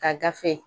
Ka gafe